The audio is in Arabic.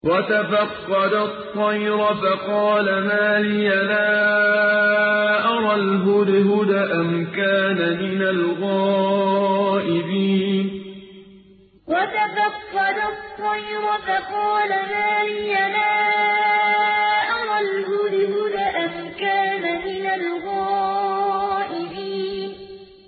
وَتَفَقَّدَ الطَّيْرَ فَقَالَ مَا لِيَ لَا أَرَى الْهُدْهُدَ أَمْ كَانَ مِنَ الْغَائِبِينَ وَتَفَقَّدَ الطَّيْرَ فَقَالَ مَا لِيَ لَا أَرَى الْهُدْهُدَ أَمْ كَانَ مِنَ الْغَائِبِينَ